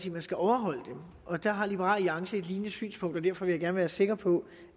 man skal overholde dem og der har liberal alliance et lignende synspunkt derfor vil jeg gerne være sikker på